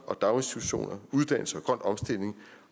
og daginstitutioner uddannelse og grøn omstilling